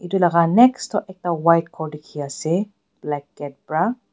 itu laga next toh ekta white ghor dikhiase black gate pra.